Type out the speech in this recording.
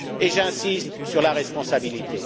Et j'insiste sur la responsabilité.